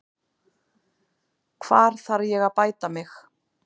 Hvar þarf ég að bæta mig?